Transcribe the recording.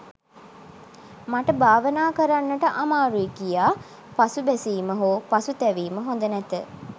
මට භාවනා කරන්නට අමාරුයි කියා පසුබැසීම හෝ පසුතැවීම හොඳ නැත.